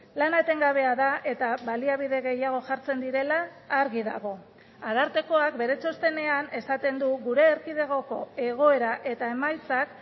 lana etengabea da eta baliabide gehiago jartzen direla argi dago arartekoak bere txostenean esaten du gure erkidegoko egoera eta emaitzak